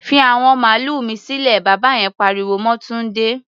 Fi àwọn màlúà mi sílẹ̀! Bàbá yen pariwo mọ́ Túndé.